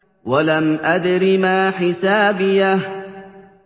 وَلَمْ أَدْرِ مَا حِسَابِيَهْ